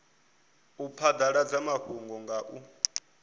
u phadaladza mafhungo nga u